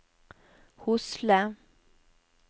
Hosle